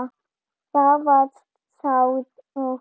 Það var sárt.